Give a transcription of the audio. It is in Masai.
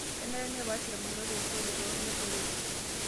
Kenare nepaash ilbarnot esoto too neeboreki